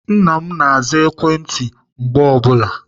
Nna m na-aza ekwentị mgbe ọ bụla.